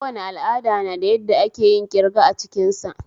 Kowane al'ada na da yadda akeyin kirga a cikin sa